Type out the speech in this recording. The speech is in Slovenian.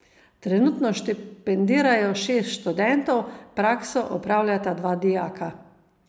Trenutno štipendirajo šest študentov, prakso opravljata dva dijaka.